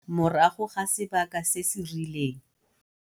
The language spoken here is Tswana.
morago ga sebaka se se rileng